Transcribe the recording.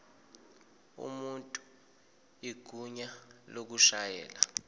umuntu igunya lokushayela